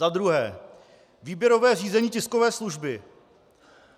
Za druhé: Výběrové řízení tiskové služby.